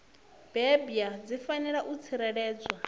bebwa dzi fanela u tsireledzwa